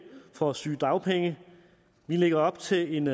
for sygedagpenge vi lægger op til en